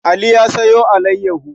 Ali ya sayo alayyaho.